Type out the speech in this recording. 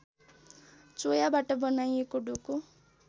चोयाबाट बनाइएको डोको